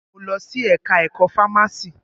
Mo lọ sí ẹka ẹ̀kọ́ fámási.